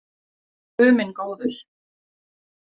Guð minn góður.